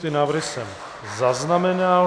Ty návrhy jsem zaznamenal.